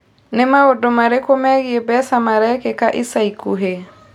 Nĩ maũndũ marĩkũ megiĩ mbeca marekĩka ica ikuhĩ?